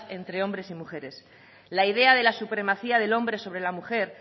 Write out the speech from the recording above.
entre hombres y mujeres la idea de la supremacía del hombre sobre la mujer